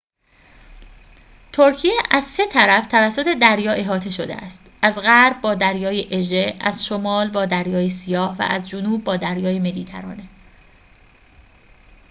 ترکیه از سه طرف توسط دریا احاطه شده است از غرب با دریای اژه از شمال با دریای سیاه و از جنوب با دریای مدیترانه